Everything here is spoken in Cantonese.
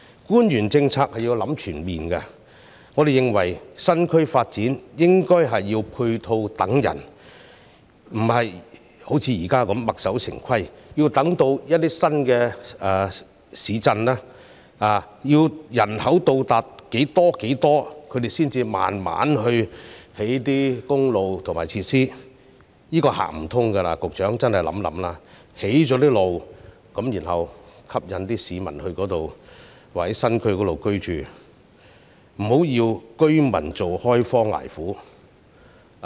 官員在制訂政策時須作全面考慮，我們認為發展新區時，應該是配套等人，而不是像現時般墨守成規，要新市鎮的人口達到某個數字才慢慢去興建公路和設施，這是行不通的，局長真的要想想，必須興建公路後再吸引市民到新區居住，不要讓居民開荒捱苦。